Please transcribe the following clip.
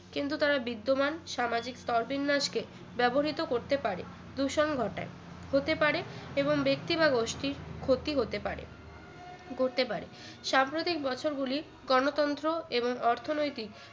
কিন্তু তারা বিদ্যমান সামাজিক স্তরবিন্যাস কে ব্যবহৃত করতে পারে দূষণ ঘটায় হতে পারে এবং ব্যক্তি বা গোষ্ঠীর ক্ষতি হতে পারে ঘটতে পারে সাম্প্রতিক বছরগুলি গণতন্ত্র এবং অর্থনৈতিক